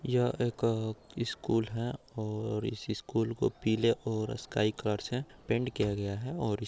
यह एक स्कूल है और इस स्कूल को पीले और स्काई कलर से पेन्ट किया गया है और --